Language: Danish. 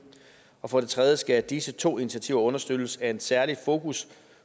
og for det tredje skal disse to initiativer understøttes af en særlig fokus